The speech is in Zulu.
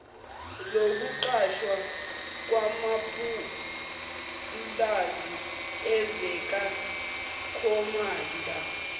lokuqashwa kwamapulazi ezikakhomanda